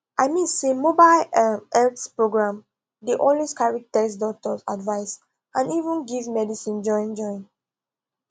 i mean say mobile um health program dey always carry test doctor advice and even give medicine join join